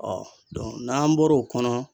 n'an bɔr'o kɔnɔ.